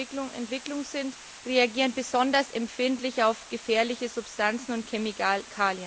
in der Entwicklung sind, reagieren besonders empfindlich auf gefährliche Substanzen und Chemikalien.